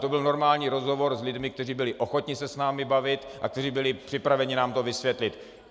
To byl normální rozhovor s lidmi, kteří byli ochotni se s námi bavit a kteří byli připraveni nám to vysvětlit.